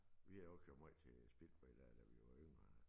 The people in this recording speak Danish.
Vi har også kørt måj til speedway da da vi var yngre